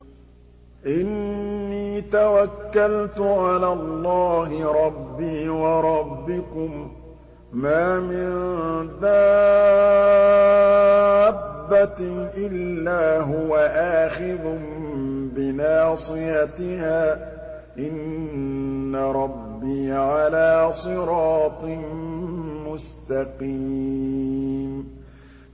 إِنِّي تَوَكَّلْتُ عَلَى اللَّهِ رَبِّي وَرَبِّكُم ۚ مَّا مِن دَابَّةٍ إِلَّا هُوَ آخِذٌ بِنَاصِيَتِهَا ۚ إِنَّ رَبِّي عَلَىٰ صِرَاطٍ مُّسْتَقِيمٍ